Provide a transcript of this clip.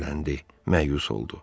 Qəzəbləndi, məyus oldu.